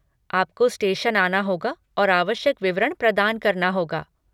आपको स्टेशन आना होगा और आवश्यक विवरण प्रदान करना होगा।